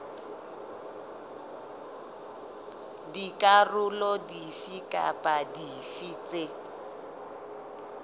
dikarolo dife kapa dife tse